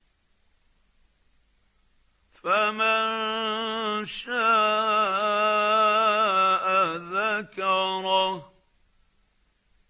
فَمَن شَاءَ ذَكَرَهُ